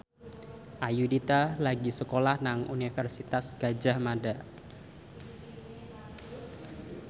Ayudhita lagi sekolah nang Universitas Gadjah Mada